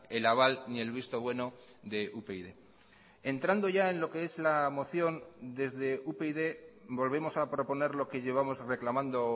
el aval ni el visto bueno de upyd entrando ya en lo que es la moción desde upyd volvemos a proponer lo que llevamos reclamando